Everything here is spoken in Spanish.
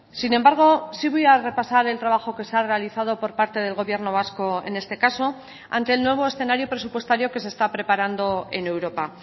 sin embargo sí voy a repasar el trabajo que se ha realizado por parte del gobierno vasco en este caso ante el nuevo escenario presupuestario que se está preparando en europa